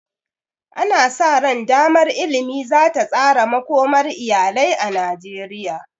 Ana sa ran damar ilimi za ta tsara makomar iyalai na Najeriya.